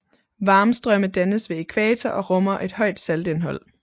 Varmstrømme dannes ved ækvator og rummer et højt saltindhold